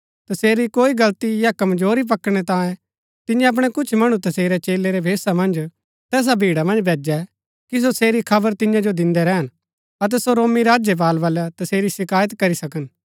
तसेरी कोई गलती या कमजोरी पकड़नै तांयें तियें अपणै कुछ मणु तसेरै चेलै रै भेषा मन्ज तैसा भीड़ा मन्ज भैजै कि सो तसेरी खबर तियां जो दिन्दै रैहन अतै सो रोमी राज्यपाल वलै तसेरी शिकायत करी सकन